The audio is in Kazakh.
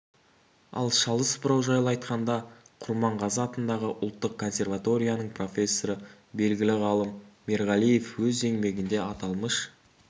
ал шалыс бұрау жайлы айтқанда құрманғазы атындағы ұлттық консерваторияның профессоры белгілі ғалым мерғалиев өз еңбегінде аталмыш